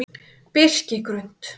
Birkigrund